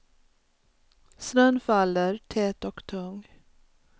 Snön faller, tät och tung.